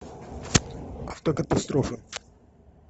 автокатастрофы